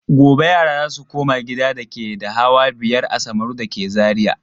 Gobe yara za su koma gidan dake da hawa biyar a Samaru da ke Zariya.